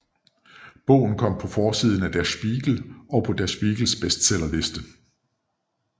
Bogen kom på forsiden af Der Spiegel og på Der Spiegels bestseller liste